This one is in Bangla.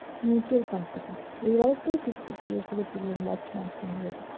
mutual fund থেকে। এবারেরটাই fixed deposit থেকে তুললাম last month পনের হাজার টাকা।